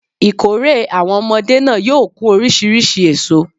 Ìkórè àwon omodé náà yóò kún orísirísi èso